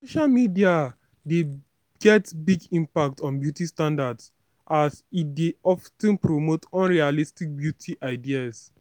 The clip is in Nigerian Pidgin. social media dey get big impact on beauty standards as e dey of ten promote unrealistic beauty ideas.